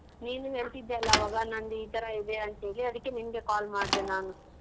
ನೀನು ಹೇಳ್ತಿದ್ದಲ್ಲ ಆವಾಗ ನಂದ್ ಈತರ ಇದೆ ಅಂತ್ ಹೇಳಿ ಅದಕ್ಕೆ ನಿನ್ಗೆ call ಮಾಡ್ದೆ ನಾನು.